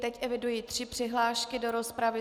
Teď eviduji tři přihlášky do rozpravy.